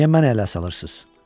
Niyə məni ələ salırsınız?